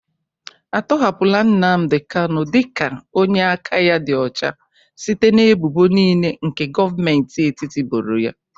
Atọhapụla Nnamdị kanụ dị ka onye aka ya dị ọcha site n'ebụbo niile nke Govmenti etiti boro ya?